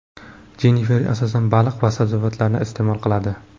Jennifer, asosan, baliq va sabzavotlarni iste’mol qiladi.